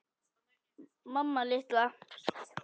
Mamma litla!